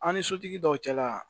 An ni sotigi dɔw cɛla